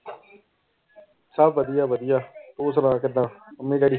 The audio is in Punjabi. ਸਭ ਵਧੀਆ ਵਧੀਆ ਤੂੰ ਸੁਣਾ ਕਿੱਦਾਂ ਮੰਮੀ ਡੈਡੀ?